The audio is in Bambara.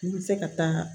N bɛ se ka taa